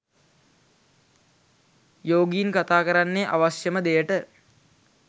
යෝගීන් කතා කරන්නේ අවශ්‍යම දෙයට